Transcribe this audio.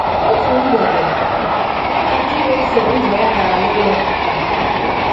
Ọ̀tụ̀ mgbèdè, ya na ndị na-èsò ụzọ ya gàrà n’ụlọ Pita.